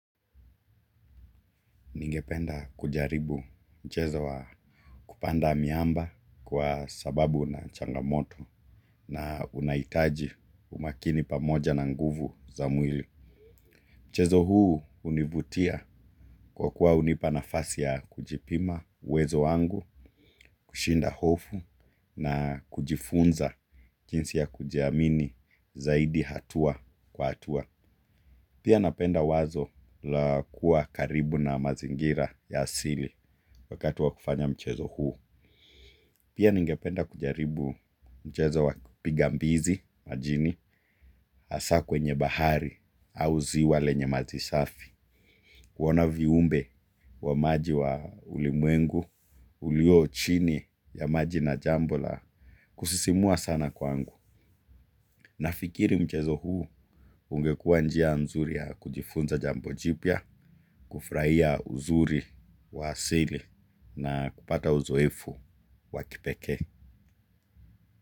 Ningependa kujaribu mchezo wa kupanda miamba kwa sababu na changamoto na unahitaji umakini pamoja na nguvu za mwili. Mchezo huu hunivutia kwa kuwa hunipa nafasi ya kujipima uwezo wangu, kushinda hofu na kujifunza jinsi ya kujiamini zaidi hatua kwa hatua. Pia napenda wazo la kuwa karibu na mazingira ya asili wakati wa kufanya mchezo huo. Pia ningependa kujaribu mchezo wa pigambizi majini hasa kwenye bahari au ziwa lenye maji safi. Kuona viumbe wa maji wa ulimwengu, ulio chini ya maji na jambo la, kusisimua sana kwangu. Nafikiri mchezo huu ungekuwa njia nzuri ya kujifunza jambojipya, kufurahia uzuri wa asili na kupata uzoefu wa kipekee.